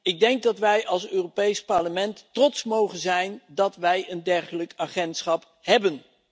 Ik denk dat wij als Europees Parlement trots mogen zijn dat wij een dergelijk agentschap hebben.